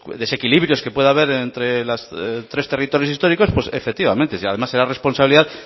desequilibrios que puede haber entre los tres territorios históricos pues efectivamente si además era la responsabilidad